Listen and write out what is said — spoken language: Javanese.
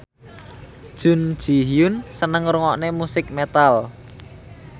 Jun Ji Hyun seneng ngrungokne musik metal